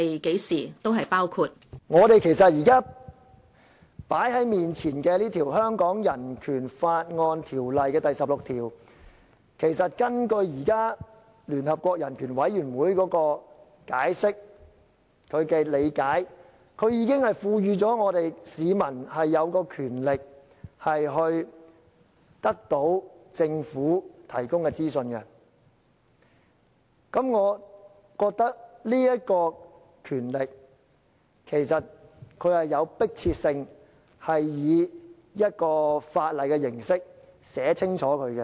即是說，現在放在眼前的香港人權法案第十六條，如根據聯合國人權委員會的解釋和理解，這條文已賦予香港市民權力可得到政府提供的資訊，而我認為這權力其實是有迫切性，應以法例的形式清楚訂明。